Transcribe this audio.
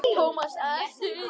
Thomas elti.